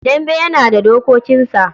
Dambe yana da dokokinsa.